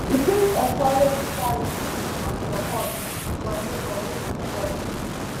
e fit encourage charity and sopport for neibor wey dey struggle